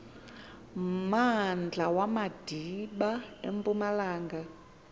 mmandla wamadiba empumalanga